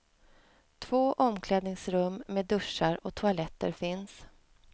Två omklädningsrum med duschar och toaletter finns.